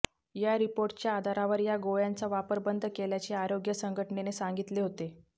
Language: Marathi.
या रिपोर्टच्या आधारावर या गोळ्यांचा वापर बंद केल्याचे आरोग्य संघटनेने सांगितले होते